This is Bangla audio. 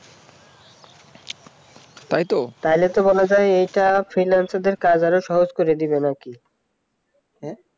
তাইতো তাহলে তো আরো বলা যায় এটা freelancer কাজ আরো সহজ করে দেবে নাকি